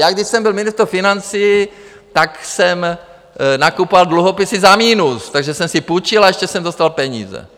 Já když jsem byl ministr financí, tak jsem nakupoval dluhopisy za minus, takže jsem si půjčil, a ještě jsem dostal peníze.